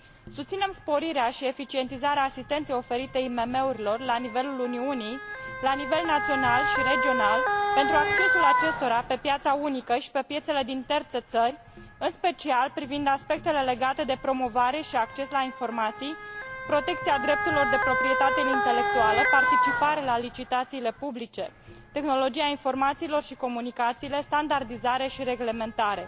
Susținem sporirea și eficientizarea asistenței oferite IMM urilor la nivelul Uniunii, la nivel național și regional, pentru accesul acestora pe piața unică și pe piețele din terțe țări, în special privind aspectele legate de promovare și acces la informații, protecția drepturilor de proprietate intelectuală, participare la licitațiile publice, tehnologia informațiilor și comunicațiile, standardizare și reglementare.